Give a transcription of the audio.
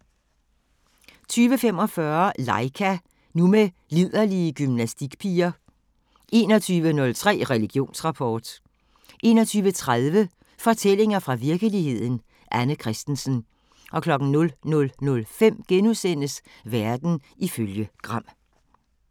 20:45: Laika – nu med liderlige gymnastikpiger 21:03: Religionsrapport 21:30: Fortællinger fra virkeligheden – Anne Kristensen 00:05: Verden ifølge Gram *